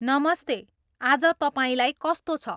नमस्ते आज तपाईँलाई कस्तो छ